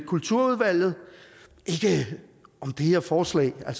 kulturudvalget det her forslag er